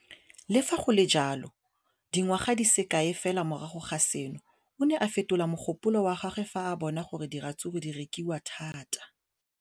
Le fa go le jalo, dingwaga di se kae fela morago ga seno, o ne a fetola mogopolo wa gagwe fa a bona gore diratsuru di rekisiwa thata.